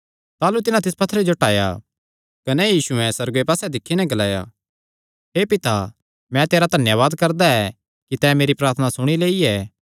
ताह़लू तिन्हां तिस पत्थरेयो टाया कने यीशुयैं सुअर्गे पास्से दिक्खी नैं ग्लाया हे पिता मैं तेरा धन्यावाद करदा ऐ कि तैं मेरी प्रार्थना सुणी लेई ऐ